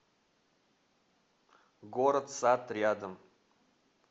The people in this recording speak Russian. город сад рядом